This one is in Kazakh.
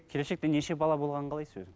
келешекте неше бала болғанын қалайсыз өзіңіз